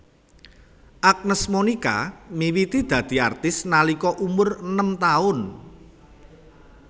Agnes Monica miwiti dadi artis nalika umur enem taun